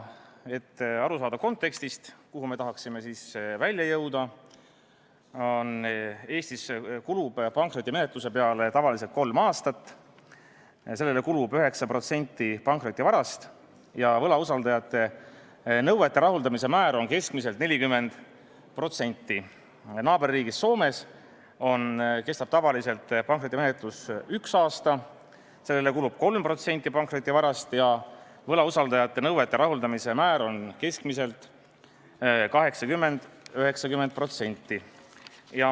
Et te saaksite aru kontekstist, kuhu me tahame välja jõuda: Eestis kulub pankrotimenetluse peale tavaliselt kolm aastat ja sellele kulub 9% pankrotivarast, võlausaldajate nõuete rahuldamise määr on keskmiselt 40%, naaberriigis Soomes kestab pankrotimenetlus tavaliselt ühe aasta, sellele kulub 3% pankrotivarast ja võlausaldajate nõuete rahuldamise määr on keskmiselt 80–90%.